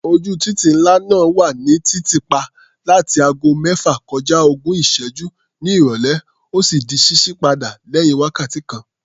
Ojú títì ńlá náà wà ní títì pa láti ago mẹ́fà kọja ogún ìṣẹ́gún ní ìrọ̀lẹ́, ó sì di ṣíṣí padà lẹ́yìn wákàtí kan.